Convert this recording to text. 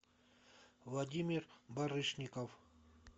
владимир барышников